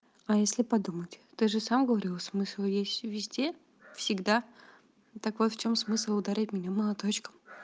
а если подумать ты же сам говорил смысл есть везде всегда так вот в чём смысл ударять меня молоточком